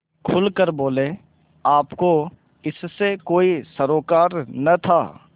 खुल कर बोलेआपको इससे कोई सरोकार न था